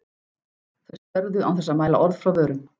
Þau störðu án þess að mæla orð frá vörum.